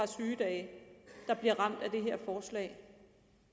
sygedage der bliver ramt af det her forslag